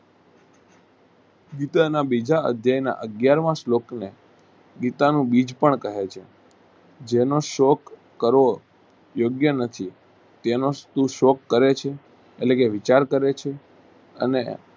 ગીતા બીજા અધ્યયના અગિયારમાં સ્લોકને ગીતાનું બીજ પણ કહે છે જેનો શોક કરવો યોગ્ય નથી તેનો તું શોક કરેછે એટલેકે વિચાર કરેછે.